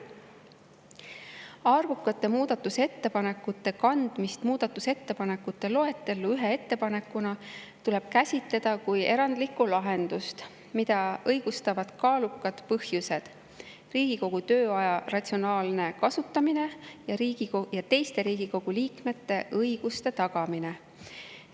Arvukate muudatusettepanekute kandmist muudatusettepanekute loetellu ühe ettepanekuna tuleb käsitleda kui erandlikku lahendust, mida õigustavad kaalukad põhjused: Riigikogu tööaja ratsionaalne kasutamine ja teiste Riigikogu liikmete õiguste tagamine.